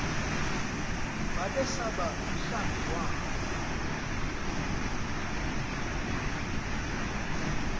babesaba nomhlambi wabo